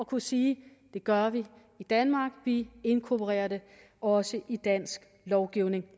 kunne sige det gør vi i danmark vi inkorporerer det også i dansk lovgivning